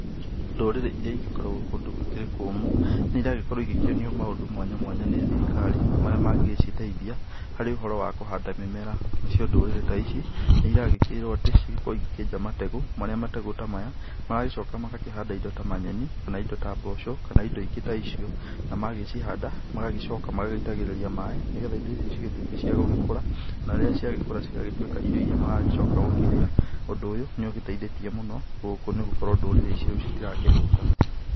Ndũrĩrĩ irĩa igĩkoragwo kũndũ gũkĩrĩ kũmũ nĩ ĩragĩkorwo igĩkĩonio indo mwanya mwanya nĩ thirikari marĩa mangĩciteithia harĩ ũhoro wa kũhanda mĩmera nacio ndũrĩrĩ ta ici nĩ ĩragĩkĩrwo atĩ cigagĩkorwo ikĩenja mategũ, marĩa mategũ ta maya, magagĩcĩoka magakĩhanda indo ta nyeni kana indo ta mboco kana indo ingĩ ta icio na macihanda magacoka magaitagĩrĩria maĩ nĩgetha indo ici cigĩtuĩke cia gũgĩkũra na rĩrĩa ciagĩkũra cĩgatuĩka irio iria magagĩcoka gũkĩrĩa, ũndũ ũyũ nĩ ũgĩteithĩtie mũno gũkũ nĩ gũkorwo ndũrĩrĩ ici rĩu citirakĩhũta.